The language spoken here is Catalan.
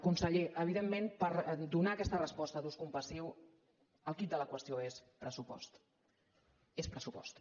conseller evidentment per donar aquesta resposta d’ús compassiu el quid de la qüestió és pressupost és pressupost